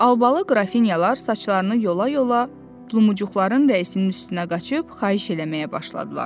Albalı qrafinyalar saçlarını yola-yola Lumucuqların rəisinin üstünə qaçıb xahiş eləməyə başladılar.